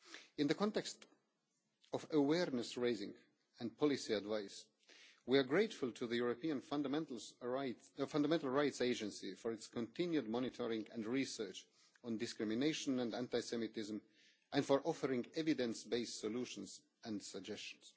In the context of awareness raising and policy advice, we are grateful to the European Fundamental Rights Agency for its continued monitoring of, and research into, discrimination and anti Semitism and for offering evidence based solutions and suggestions.